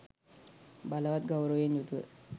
බලවත් ගෞරවයෙන් යුතුව